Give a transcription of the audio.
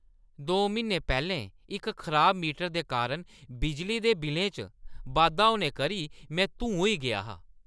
दो म्हीने पैह्‌लें इक खराब मीटर दे कारण बिजली दे बिल्लें च बाद्धा होने करी मैं धूं होई गेआ हा।